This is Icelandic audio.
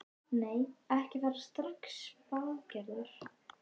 Nei, ekki fara strax bað Gerður.